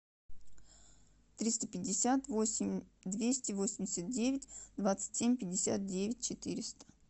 триста пятьдесят восемь двести восемьдесят девять двадцать семь пятьдесят девять четыреста